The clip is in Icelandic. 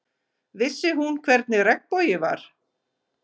Vissi hún hvernig regnbogi var?